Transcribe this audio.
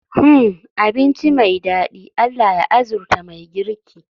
Hmmm! Abinci me dadi, Allah ya arzuta mai girki